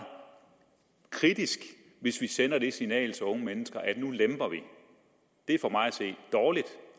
kritisk hvis vi sender det signal til unge mennesker at nu lemper vi det er for mig at se dårligt